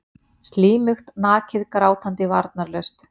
Slímugt, nakið, grátandi, varnarlaust.